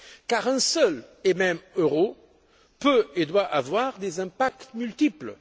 Car un seul et même euro peut et doit avoir des impacts multiples.